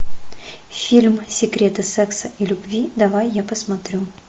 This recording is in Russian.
фильм секреты секса и любви давай я посмотрю